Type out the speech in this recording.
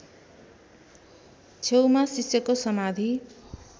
छेउमा शिष्यको समाधि